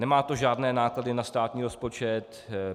Nemá to žádné náklady na státní rozpočet.